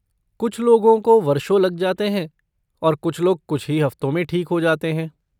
कुछ लोगों को वर्षों लग जाते हैं और कुछ लोग कुछ ही हफ्तों में ठीक हो जाते हैं।